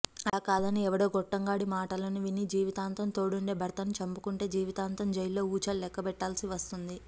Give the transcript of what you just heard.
అలాకాదని ఎవడో గొట్టంగాడి మాటలను విని జీవితాంతం తోడుండే భర్తను చంపుకుంటే జీవితాంతం జైల్లో ఊచలు లెక్కబెట్టాల్సి వస్తుంది